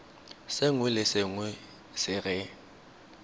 sengwe le sengwe se re